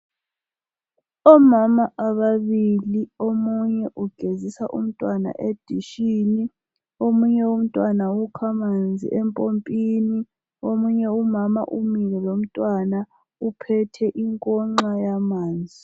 Omama ababili omunye ugezisa umntwana edishini omunye umntwana ukha amanzi empompini omunye umama umile lomntwana uphethe inkonxa yamanzi